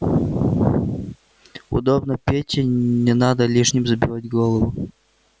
удобно пете не надо лишним забивать голову